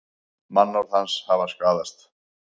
Mannorð hans hafi skaðast